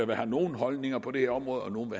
der har nogle holdninger på det her område og nogle